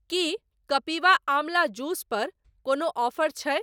की Kapiva Amla juice पर कोनो offer छै?